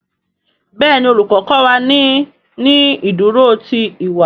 Béèni Olùkó kó wá ní ní ìdúró tí ìwà.